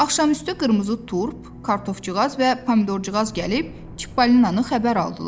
Axşamüstü qırmızı turp, kartofcuğaz və pomidorcuğaz gəlib Çippolinanı xəbər aldılar.